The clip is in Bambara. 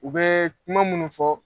U bɛ kuma minnu fɔ.